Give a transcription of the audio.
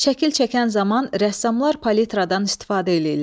Şəkil çəkən zaman rəssamlar palitradan istifadə eləyirlər.